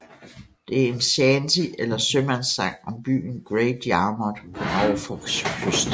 Det er en shanty eller sømandssang om byen Great Yarmouth på Norfolks kyst